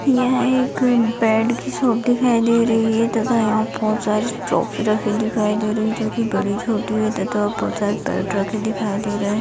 यह एक बैट की शॉप दिखाई दे रही है तथा यहां बहुत सारे ट्रॉफी रखी दिखाई दे रही है जो कि बड़ी-छोटी है तथा बहुत सारे बैट रखे दिखाई दे रहे।